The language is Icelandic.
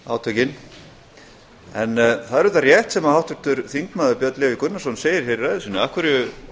átökin það er auðvitað rétt sem háttvirtur þingmaður björn leví gunnarsson segir hér í ræðu sinni af hverju